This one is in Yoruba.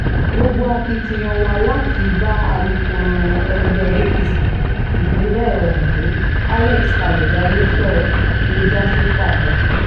gbogbo akitiyan wa láti bá alukoro ẹgbẹ́ apc ìpínlẹ̀ ondo alex kalejaye sọ̀rọ̀ ló já sí pàbó